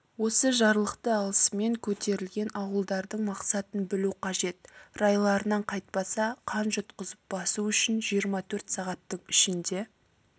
осы жарлықты алысымен көтерілген ауылдардың мақсатын білу қажет райларынан қайтпаса қан жұтқызып басу үшін жиырма төрт сағаттың ішінде